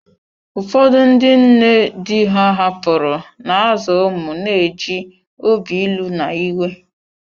Ụfọdụ ndị nne di ha hapụrụ, na-azụ ụmụ na-eji obi ilu na iwe.